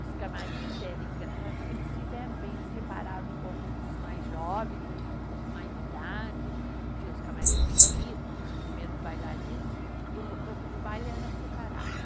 Os camarins era engraçado porque eles fizeram bem, eles separaram um pouco dos mais jovens, os com mais idade, tinha os camarins do solista, dos primeiros bailarinos, e o do corpo de baile era separado.